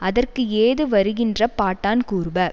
அதற்குஏது வருகின்ற பாட்டான் கூறுப